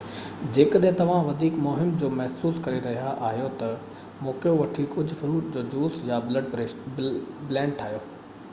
جيڪڏهن توهان وڌيڪ مُهم جُو محسوس ڪري رهيا آهيو ته موقعو وٺي ڪجهه فروٽ جو جوس يا بلينڊ ٺاهيو